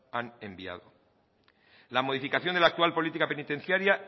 han enviado la modificación de la actual política penitenciaria